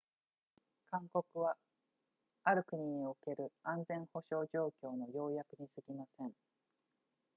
勧告はある国における安全保障状況の要約にすぎません